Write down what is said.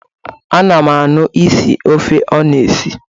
A na m ahụ isi ofe ọ na-esi